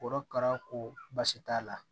Korokara ko baasi t'a la